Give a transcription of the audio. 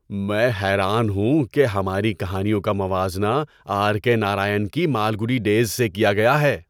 میں حیران ہوں کہ ہماری کہانیوں کا موازنہ آر کے نارائن کی مالگوڈی ڈیز سے کیا گیا ہے!